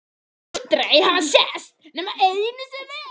Sem aldrei hafa sést nema einu sinni.